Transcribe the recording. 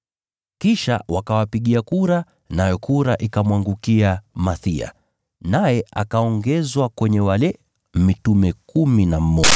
Kisha wakawapigia kura, nayo kura ikamwangukia Mathiya, naye akaongezwa kwenye wale mitume kumi na mmoja.